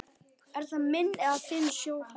Er það minn eða þinn sjóhattur